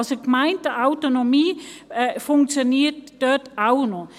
Also: Die Gemeindeautonomie funktioniert dort auch noch.